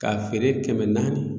K'a feere kɛmɛ naani.